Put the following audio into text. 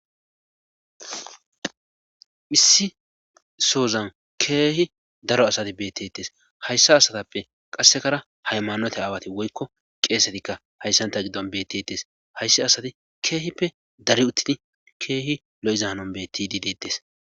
Issi sozan keehi daro asati bettetes hayssa asatappe qassekara haymanote aawati woykko qeesetikka hayssanta giddon bettetes haysse asati keehippe dari uttin keehi lo7izaanon beetti diidettes.